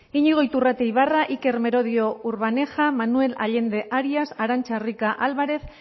iñigo iturrate ibarra iker merodio urbaneja manuel allende arias arantza rica álvarez